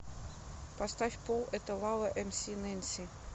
поставь пол это лава эмси нэнси